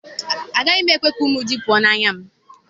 Agaghị m ekwe ka ụmụ ézì pụọ n'anya m.